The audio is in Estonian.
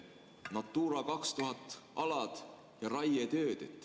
Natura 2000 alad ja raietööd.